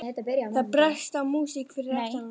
Það brast á músík fyrir aftan hana.